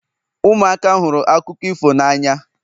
ụmụaka hụrụ akụkọ ifo n'anya